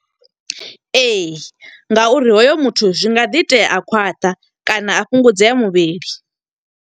Ee, nga uri hoyo muthu zwi nga ḓi itea a khwaṱha kana a fhungudzea muvhili.